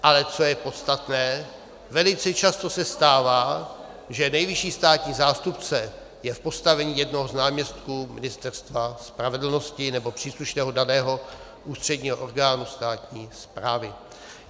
Ale co je podstatné, velice často se stává, že nejvyšší státního zástupce je v postavení jednoho z náměstků Ministerstva spravedlnosti nebo příslušného daného ústředního orgánu státní správy.